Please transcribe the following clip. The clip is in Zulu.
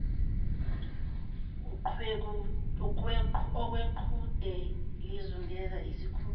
okweqhude lizungeza isikhukukazi